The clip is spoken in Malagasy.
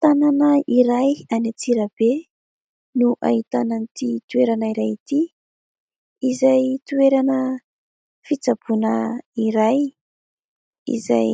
Tanàna iray any Antsirabe no ahitana an'ity toerana iray ity. Izay toerana fitsaboana iray izay